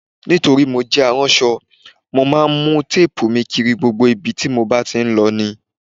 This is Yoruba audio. Nítorí mo jẹ aránṣọ, mo máa ń mu téèbù mi kiri gbogbo ibi tí mo bá lọ ní